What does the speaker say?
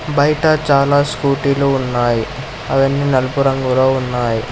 బైట చాలా స్కూటీ లు ఉన్నాయి అవన్నీ నలుపు రంగులో ఉన్నాయి.